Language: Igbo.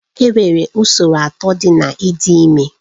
Enwere usoro atọ dị na ịdị ime